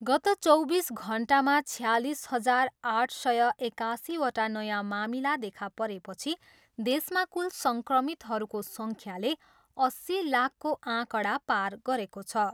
गत चौबिस घन्टामा छयालिस हजार आठ सय एकासीवटा नयाँ मामिला देखा परेपछि देशमा कुल सङ्क्रमितहरूको सङ्ख्याले अस्सी लाखको आँकडा पार गरेको छ।